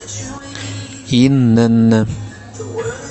инн